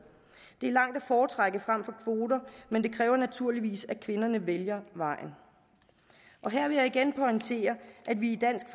det er langt at foretrække frem for kvoter men det kræver naturligvis at kvinderne vælger vejen og her vil jeg igen pointere at vi i dansk